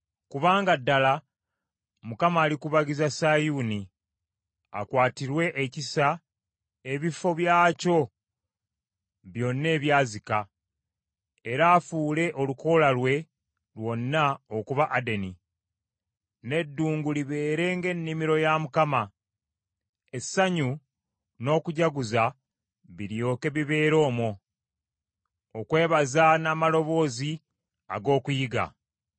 Kubanga ddala Mukama alikubagiza Sayuuni; akwatirwe ekisa ebifo byakyo byonna ebyazika era afuule olukoola lwe lwonna okuba Adeni, n’eddungu libeere ng’ennimiro ya Mukama ; Essanyu n’okujaguza biryoke bibeere omwo, okwebaza n’amaloboozi ag’okuyimba.